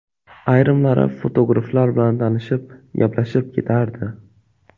Ayrimlari fotograflar bilan tanishib, gaplashib ketardi.